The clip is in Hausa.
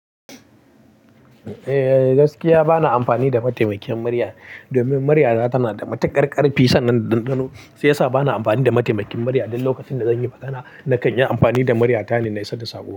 Eh gaskiya bana amfani da mataimakin murya domin murya ta tana da matuƙar ƙarfi sannan dandano shiya sa bana amfani da mataimakin murya. Duk lokacin da zan yi magana nakan yi amfani da murya ta ne na isar da sako.